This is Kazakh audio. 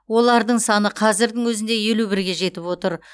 олардың саны қазірдің өзінде елу бірге жетіп отыр